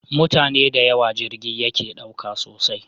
Mutane dayawo jirgi yake ɗauka sosai